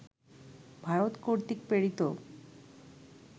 ভারত কর্তৃক প্রেরিত